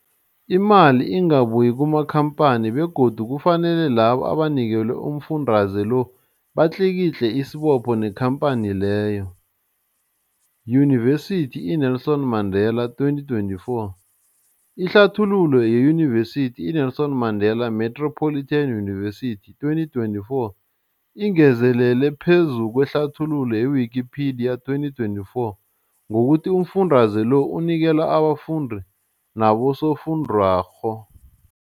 Imali ingabuyi kumakhamphani begodu kufanele labo abanikelwa umfundaze lo batlikitliki isibopho neenkhamphani leyo, Yunivesity i-Nelson Mandela 2024. Ihlathululo yeYunivesithi i-Nelson Mandela Metropolitan University, 2024, ingezelele phezu kwehlathululo ye-Wikipedia, 2024, ngokuthi umfundaze lo unikelwa abafundi nabosofundwakgho.